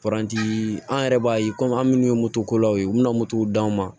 an yɛrɛ b'a ye an minnu ye moto kola ye u bɛna d'anw ma